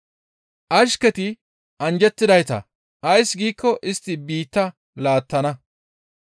Ashketi anjjettidayta; ays giikko istti biitta laattana.